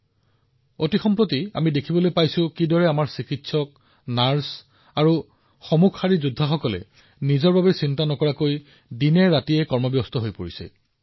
সাম্প্ৰতিক সময়ত আমি দেখিছো কেনেদৰে আমাৰ চিকিৎসক নাৰ্চ আৰু ফ্ৰণ্ট লাইনৰ যোদ্ধাসকলে তেওঁলোকে তেওঁলোকৰ উদ্বেগ এৰি দিনৰাতিয়ে কাম কৰিছে আৰু আজিও কৰি আছে